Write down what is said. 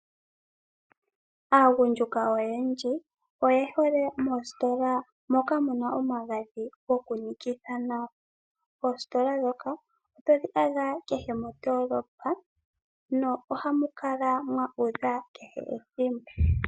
Aagundjuka oyendji oye hole moositola moka muna omagadhi goku nikitha nawa. Oostola dhoka otodhi adha kehe mondoolopa no ohamu kala mwa udha kehe ethimbo.